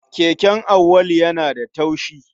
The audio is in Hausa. Keken Auwalu yana da taushi.